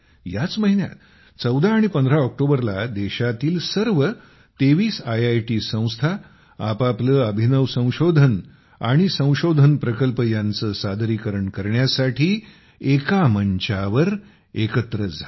याच महिन्यात 1415 ऑक्टोबरला देशातील सर्व 23 आयआयटी संस्था आपापली अभिनव संशोधने आणि संशोधन प्रकल्प यांचे सादरीकरण करण्यासाठी एका मंचावर एकत्र झाले